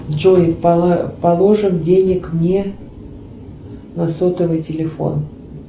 джой положим денег мне на сотовый телефон